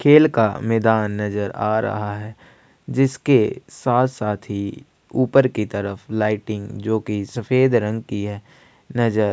खेल का मैदान नज़र आ रहा है जिसके साथ साथ ही लाइटिंग जो कि सफेद रंग की है नज़र --